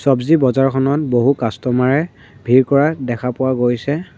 চবজি বজাৰখনত বহু কাষ্টমাৰ এ ভিৰ কৰা দেখা পোৱা গৈছে।